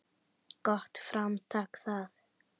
Gott framtak það.